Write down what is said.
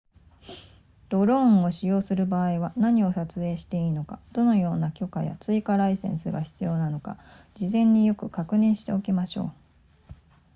ドローンを使用する場合は何を撮影していいのかどのような許可や追加ライセンスが必要なのか事前によく確認しておきましょう